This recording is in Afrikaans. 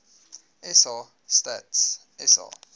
sa stats sa